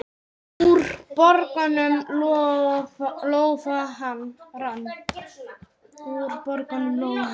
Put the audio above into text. Úr bognum lófa rann.